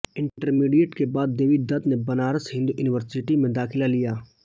intermediate के बाद देवी दत्त ने बनारस हिन्दू युनिवर्सिटी में दाखिला लिया